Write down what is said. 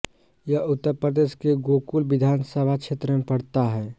यह उत्तर प्रदेश के गोकुल विधान सभा क्षेत्र में पड़ता है